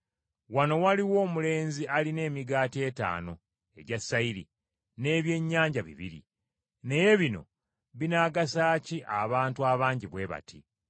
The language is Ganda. “Wano waliwo omulenzi alina emigaati etaano egya sayiri, n’ebyennyanja bibiri. Naye bino binaagasa ki abantu abangi bwe bati?”